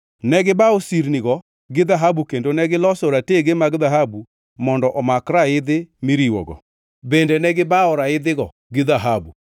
Ne gibawo sirnigo gi dhahabu kendo negiloso ratege mag dhahabu mondo omak raidhi miriwogo. Bende ne gibawo raidhigo gi dhahabu.